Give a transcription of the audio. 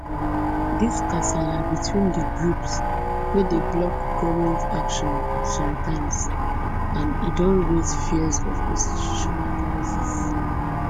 dis kasala between di two groups dey block goment action sometimes and e don raise fears of institutional crisis